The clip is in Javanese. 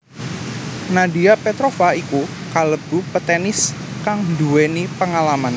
Nadia Petrova iku kalebu petenis kang nduwéni pengalaman